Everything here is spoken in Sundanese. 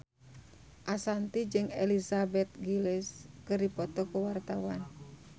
Ashanti jeung Elizabeth Gillies keur dipoto ku wartawan